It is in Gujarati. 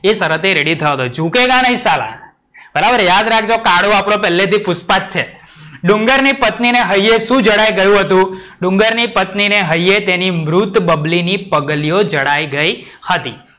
એ શરતે રેડિ થયો હતો. जुकेगा नई साला બરાબર યાદ રાખજો કાળું આપડો પેલ્લે થી પુષ્પા જ છે. ડુંગરની પત્નીને હૈયે શું જણાય ગયું હતું? ડુંગરની પત્નીને હૈયે તેની મૃત બાબલીની પગલીઓ જણાય ગઈ હતી.